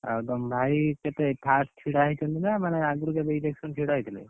ଆଉ ତମ ଭାଇ କେତେ first ଛିଡା ହେଇଛନ୍ତି ନା ମାନେ ଆଗୁରୁ କେବେ election ଛିଡା ହେଇଥିଲେ?